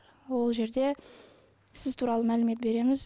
ол жерде сіз туралы мәлімет береміз